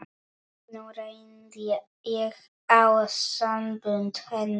Nú reyndi á sambönd hennar.